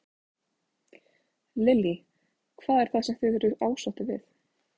Lillý: Hvað er það sem þið eruð ósáttir við?